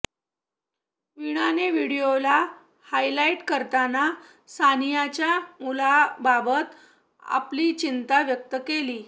वीणाने व्हिडिओला हायलाईट करताना सानियाच्या मुलाबाबत आपली चिंता व्यक्त केली